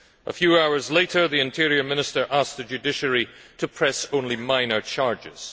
A few hours later, the Interior Minister asked the judiciary to press only minor charges.